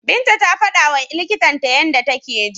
Binta ta fadawa likitan ta yanda take ji.